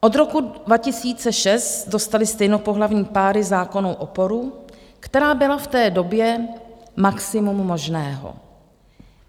Od roku 2006 dostaly stejnopohlavní páry zákonnou oporu, která byla v té době maximum možného.